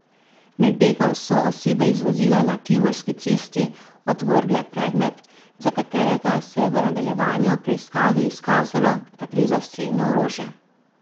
Med begom so osebe iz vozila na Tivolski cesti odvrgle predmet, za katerega se je v nadaljevanju preiskave izkazalo, da gre za strelno orožje.